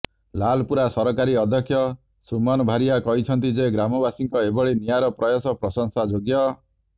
ଲାଲପୁରା ସରକାରୀ ଅଧ୍ୟକ୍ଷ ସୁମନ ଭାରିଆ କହିଛନ୍ତି ଯେ ଗ୍ରାମବାସୀଙ୍କ ଏଭଳି ନିଆରା ପ୍ରୟାସ ପ୍ରଶଂସାଯୋଗ୍ୟ